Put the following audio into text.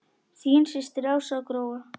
Þín systir Ása Gróa.